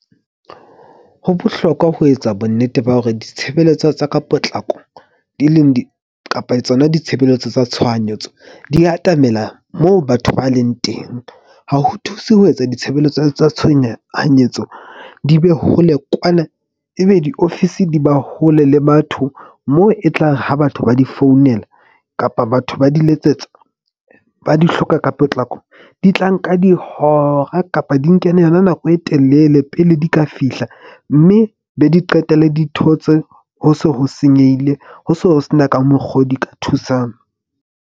Ho bohlokwa ho etsa bonnete ba hore ditshebeletso tsa ka potlako di leng kapa tsona ditshebeletso tsa tshohanyetso di atamela moo batho ba leng teng. Ha ho thuse ho etsa ditshebeletso tsa tshohanyetso di be hole kwana. Ebe diofisi di ba hole le batho mo e tlang ho batho ba di founela kapa batho ba di letsetsa, ba di hloka ka potlako, di tla nka dihora kapa di nke yona nako e telele pele di ka fihla. Mme be di qetelle di thotse ho se ho senyehile. Ho se ho sena ka mokgo di ka thusang.